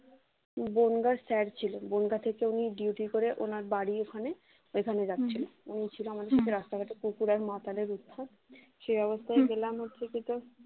বনগাঁর site ছিল বনগাঁ থেকে উনি duty করে উনার বাড়ির ওখানে ওইখানে যাচ্ছেন উনি ছিল আমাদের রাস্তাঘাটে কুকুর আর মশাদের উৎপাত সে অবস্থায় পেলাম হচ্ছে কি তোর